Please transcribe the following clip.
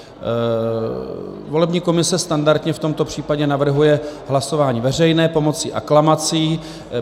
Volební komise standardně v tomto případě navrhuje hlasování veřejné pomocí aklamací.